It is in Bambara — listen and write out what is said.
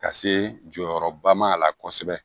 Ka se jɔyɔrɔba ma a la kosɛbɛ